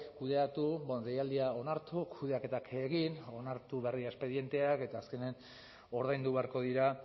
kudeatu deialdia onartu kudeaketak egin onartu berri espedienteak eta azkenean ordaindu beharko dira